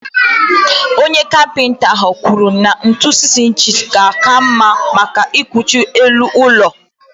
Onye Kapịnta ahụ kwuru na ntu 6 ịnchis kacha mma maka ịkwụchi elu ụlọ.